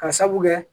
Ka sabu kɛ